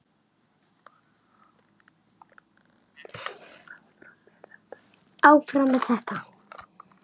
Áfram með þetta.